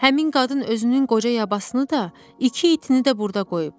Həmin qadın özünün qoca yabasını da, iki itini də burda qoyub.